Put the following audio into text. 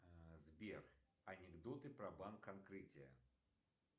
сбер анекдоты про банк открытие